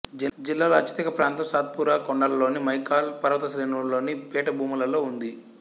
జిల్లాలో అత్యధిక ప్రాంతం సాత్పురా కొండలలోని మైకాల్ పర్వతశ్రేణులలోని పీఠభూములలో ఉంది